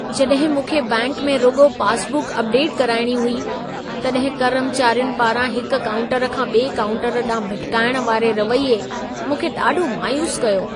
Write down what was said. जॾहिं मूंखे बैंक में रुॻो पास बुक अपडेट कराइणी हुई, तॾहिं कर्मचारियुनि पारां हिक काऊंटर खां ॿिए काऊंटर ॾांहुं भिटिकाइण वारे रवैये मूंखे ॾाढो मायूसु कयो।